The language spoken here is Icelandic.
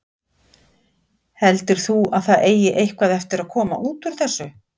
Heldur þú að það eigi eitthvað eftir að koma út úr þessu?